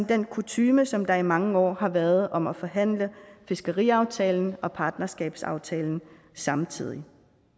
den kutyme som der i mange år har været om at forhandle fiskeriaftalen og partnerskabsaftalen samtidig